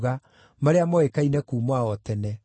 marĩa moĩkaine kuuma o tene.